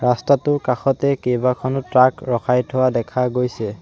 ৰাস্তাটোৰ কাষতে কেইবাখনো ট্ৰাক ৰখাই থোৱা দেখা গৈছে।